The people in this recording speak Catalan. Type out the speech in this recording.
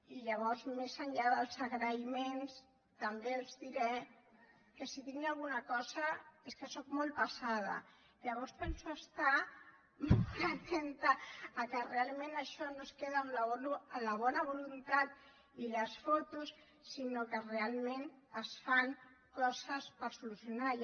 i llavors més enllà dels agraïments també els diré que si tinc alguna cosa és que sóc molt pesada llavors penso estar molt atenta que realment això no es queda en la bona voluntat i les fotos sinó que realment es fan coses per solucionar ho